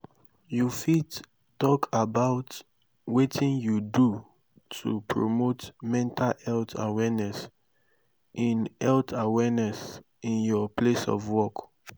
you fit talk about wetin you do to promote mental health awareness in health awareness in your place of work.